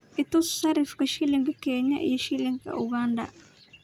i tus sarifka shilinka kenya iyo shilinka uganda